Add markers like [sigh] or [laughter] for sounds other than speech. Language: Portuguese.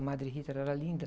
A Madre, [unintelligible] era linda.